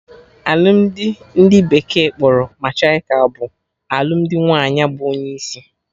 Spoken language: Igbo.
Alụmdi ndị bekee kpọrọ matriarchal bụ alụmdi nwaanyị bụ onye isi